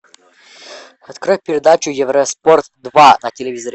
открой передачу евроспорт два на телевизоре